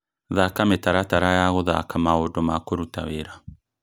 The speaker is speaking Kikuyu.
thaka mũtaratara ya guthaka maũndũ ma kũruta wĩra